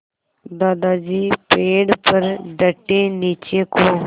दादाजी पेड़ पर डटे नीचे को